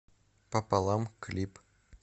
пополам клип